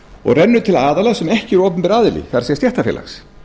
og rennur til aðila sem ekki er opinber aðili það er stéttarfélags